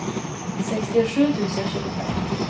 sextiosju tusen tjugofem